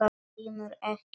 GRÍMUR: Ekki það?